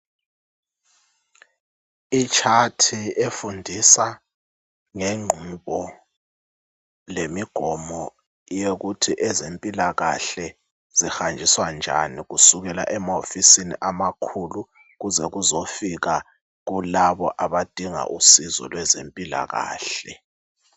Itshathi efundisa ngengqubo lemigomo yokuthi ezempilakale zihanjiswa njani, kusukela emahofisini amakhulu kuze kuzofika kulabo abadinga usizo lwezempilakahle